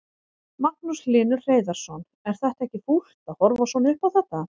Magnús Hlynur Hreiðarsson: Er þetta ekki fúlt að horfa svona upp á þetta?